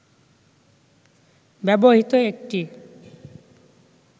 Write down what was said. ব্যবহৃত একটি